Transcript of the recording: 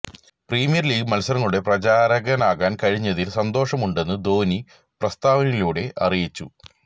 premier League മത്സരങ്ങളുടെ പ്രചാരകനാകാന് കഴിഞ്ഞതില് സന്തോഷമുണ്ടെന്ന് ധോണി പ്രസ്താവനയിലൂടെ അറിയിച്ചു